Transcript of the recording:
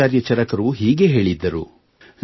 ಆಚಾರ್ಯ ಚರಕರು ಹೀಗೆ ಹೇಳಿದ್ದರು